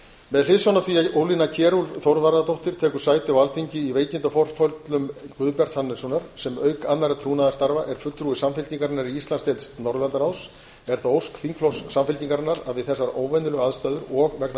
með hliðsjón af því að ólína kjerúlf þorvarðardóttir tekur sæti á alþingi í veikindaforföllum guðbjarts hannessonar sem auk annarra trúnaðarstarfa er fulltrúi samfylkingarinnar í íslands norðurlandaráðs er það ósk þingflokks samfylkingarinnar að við þessar óvenjulegu aðstæður og vegna